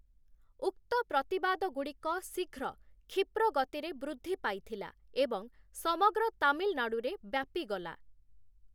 ଉକ୍ତ ପ୍ରତିବାଦଗୁଡ଼ିକ ଶୀଘ୍ର କ୍ଷିପ୍ର ଗତିରେ ବୃଦ୍ଧି ପାଇଥିଲା ଏବଂ ସମଗ୍ର ତାମିଲନାଡ଼ୁରେ ବ୍ୟାପିଗଲା ।